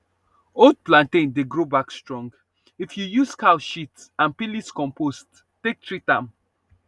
old plantain dey grow back strong if you use cow shit and peelings compost take treat am